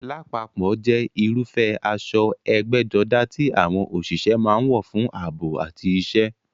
Lápapọ̀ jẹ́ irúfẹ́ aṣọ ẹgbẹ́jọdá tí àwọn òṣìṣẹ́ máa ń wọ̀ fún ààbò àti iṣẹ́.